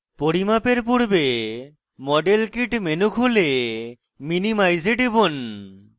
পরিমাপের পূর্বে model kit menu খুলে minimize we টিপুন